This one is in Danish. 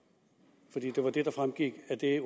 det var det der fremgik af det